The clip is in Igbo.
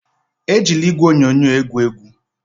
Ejila igwe onyonyo egwu egwu!